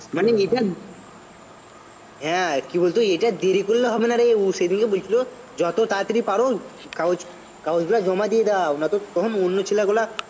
মানে এটা হ্যাঁ কি বলতো এটা দেরি করলে হবে না রে ও সেইদিনকে বলেছিলো যত তাড়াতাড়ি পারো কাগজ কাগজগুলা জমা দিয়ে দাও নয়তো তখন অন্য ছেলেগুলো